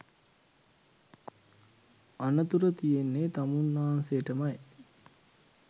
අනතුර තියෙන්නේ තමුන්නාන්සේටමයි